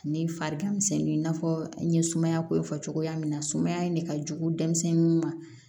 Ani fariganmisɛnnin i n'a fɔ n ye sumaya ko fɔ cogoya min na sumaya in de ka jugu denmisɛnninw ma